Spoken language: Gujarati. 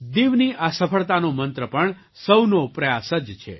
દીવની આ સફળતાનો મંત્ર પણ સૌના પ્રયાસ જ છે